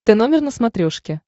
тномер на смотрешке